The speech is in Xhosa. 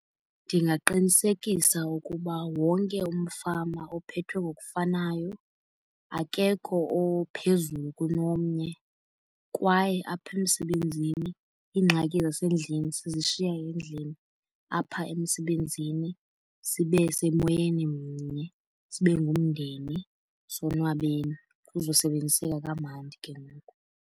Ndingaqinisekisa ukuba wonke umfama ophethwe ngokufanayo akekho ophezulu kunomnye. Kwaye apha emsebenzini iingxaki zasendlini sizishiya endlini, apha emsebenzini sibe semoyeni mnye sibe ngumndeni sonwabeni kuzosebenziseka kamandi ke ngoku.